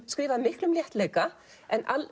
skrifuð af miklum léttleika en